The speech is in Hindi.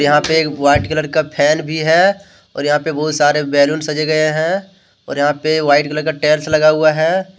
यहां पे एक वाइट कलर का फैन भी है और यहां पे बहुत सारे बैलून सजे गए हैं और यहां पे वाइट कलर का टाइलस लगा हुआ है।